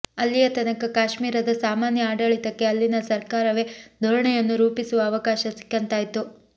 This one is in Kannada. ಅಲ್ಲಿಯ ತನಕ ಕಾಶ್ಮೀರದ ಸಾಮಾನ್ಯ ಆಡಳಿತಕ್ಕೆ ಅಲ್ಲಿನ ಸರಕಾರವೇ ಧೋರಣೆಯನ್ನು ರೂಪಿಸುವ ಅವಕಾಶ ಸಿಕ್ಕಂತಾಯ್ತು